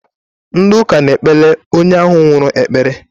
Ndi uka na ekpele onye ahu nwuru ekpere